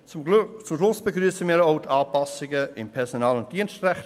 Zum Schluss begrüssen wir grösstenteils auch die Anpassungen im Personal- und Dienstrecht.